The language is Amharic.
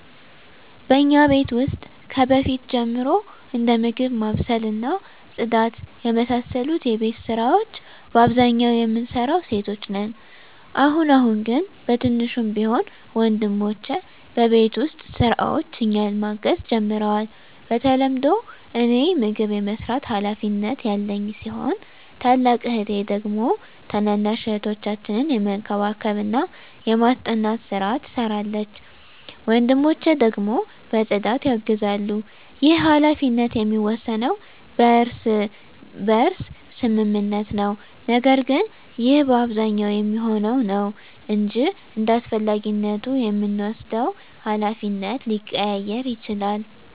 በእኛ ቤት ውስጥ ከበፊት ጀምሮ እንደ ምግብ ማብሰል እና ጽዳት የመሳሰሉ የቤት ስራወች በአብዛኛው የምንሰራው ሴቶች ነን። አሁን አሁን ግን በትንሹም ቢሆን ወንድሞቸ በቤት ውስጥ ስራዎች እኛን ማገዝ ጀምረዋል። በተለምዶ እኔ ምግብ የመስራት ሀላፊነት ያለኝ ሲሆን ታላቅ እህቴ ደግሞ ታናናሽ እህቶቻችንን የመንከባከብና የማስጠናት ስራ ትሰራለች። ወንድሞቸ ደግሞ በፅዳት ያግዛሉ። ይህ ሀላፊነት የሚወሰነው በእርስ በርስ ስምምነት ነው። ነገር ግን ይህ በአብዛኛው የሚሆነው ነው እንጅ እንዳስፈላጊነቱ የምንወስደው ሀላፊነት ሊቀያየር ይችላል።